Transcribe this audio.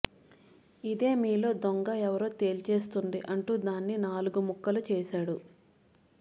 ఇదే మీలో దొంగ ఎవరో తేల్చేచేస్తుంది అంటూ దాన్ని నాలుగుముక్కలు చేశాడు